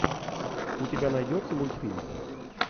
у тебя найдется мультфильм